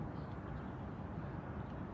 Qardaş, bu yollar hardadır?